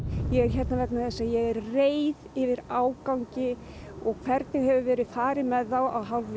ég er hérna vegna þess að ég er reið yfir ágangi og hvernig hefur verið farið með þá að hálfu